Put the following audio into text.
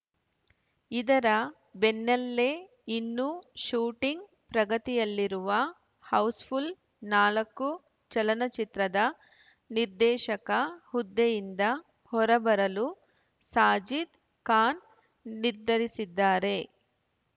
ಇದರ ಬೆನ್ನಲ್ಲೇ ಇನ್ನೂ ಶೂಟಿಂಗ್‌ ಪ್ರಗತಿಯಲ್ಲಿರುವ ಹೌಸ್‌ಫುಲ್‌ ನಾಲ್ಕು ಚಲನಚಿತ್ರದ ನಿರ್ದೇಶಕ ಹುದ್ದೆಯಿಂದ ಹೊರಬರಲು ಸಾಜಿದ್‌ ಖಾನ್‌ ನಿರ್ಧರಿಸಿದ್ದಾರೆ